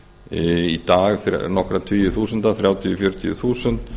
í dag nokkra tugi þúsunda þrjátíu fjörutíu þúsund